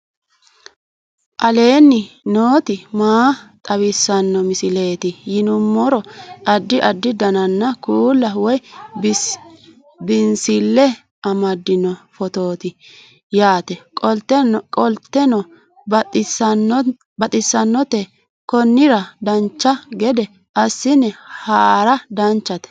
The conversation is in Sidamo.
aleenni nooti maa xawisanno misileeti yinummoro addi addi dananna kuula woy biinsille amaddino footooti yaate qoltenno baxissannote konnira dancha gede assine haara danchate